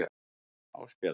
Ásbjörn